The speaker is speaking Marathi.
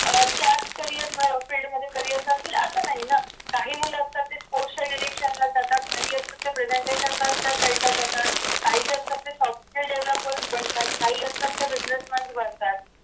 अह त्यात carrierfriend मध्ये csrrier करतील असं नाही ना काही मुल असतात ते sports च्या election ला जातात असतात ते presentation जास्त sidela ला जातात काही जे असतात ते software developers बनतात काही असतात ते business mans बनतात